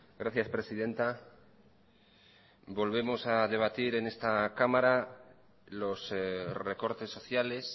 gracias presidenta volvemos a debatir en esta cámara los recortes sociales